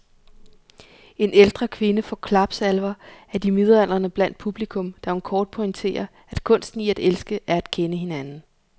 En ældre kvinde får klapsalver af de midaldrende blandt publikum, da hun kort pointerer, at kunsten i at elske er at kende hinanden.